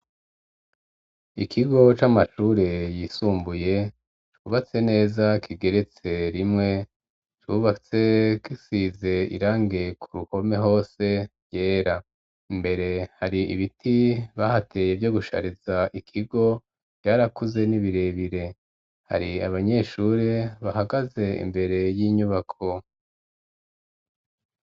Ikigo c'amashure yisumbuye, cubatse neza kigeretse rimwe, cubatse gisize irange ku ruhome hose ryera, imbere hari ibiti bahateye vyo gushariza ikigo, vyarakuze ni birebire; hari abanyeshure bahagaze imbere y'inyubako.